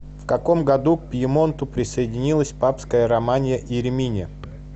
в каком году к пьемонту присоединилась папская романья и римини